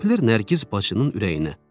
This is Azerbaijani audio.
Səpilir Nərgiz bacının ürəyinə.